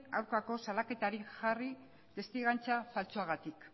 aurkako salaketarik jarri testigantza faltsuagatik